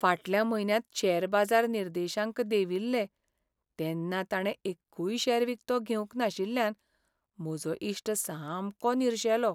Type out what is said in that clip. फाटल्या म्हयन्यांत शेअर बाजार निर्देशांक देंविल्ले तेन्ना ताणें एक्कूय शेअर विकतो घेवंक नाशिल्ल्यान म्हजो इश्ट सामको निरशेलो.